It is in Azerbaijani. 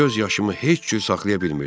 Göz yaşımı heç cür saxlaya bilmirdim.